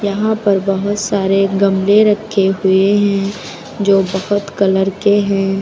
यहाँ पर बहुत सारे गमले रखे हुए हैं जो बकत कलर के हैं।